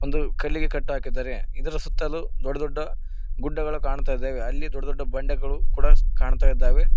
ಇದು ಕಲ್ಲಿಗೆ ಕಟ್ಟಹಾಕಿದ್ದಾರೆ ಇದರ ಸುತ್ತಲೂ ದೊಡ್ಡ ದೊಡ್ಡ ಗುಡ್ಡಗಳು ಕಾಣ್ತಾ ಇದ್ದವೆ ಅಲ್ಲಿ ದೊಡ್ಡ ದೊಡ್ಡ ಬಂಡೆಗಳು ಕೂಡ ಕಾಣ್ತಾ ಇದ್ದಾವೆ.